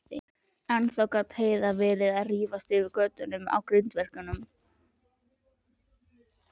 Ennþá gat Heiða verið að rífast yfir götunum á grindverkinu.